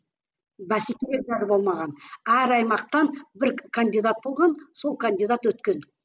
бәсеке болмаған әр аймақтан бір кандидат болған сол кандидат өткен